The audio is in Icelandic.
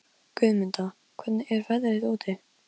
Dáð, spilaðu lagið „Æði“.